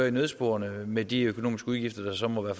i nødsporene med de økonomiske udgifter der så måtte